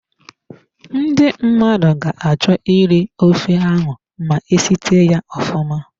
Ndi mmadụ ga-achọ iri ofe ọha ma esite ya ofụma.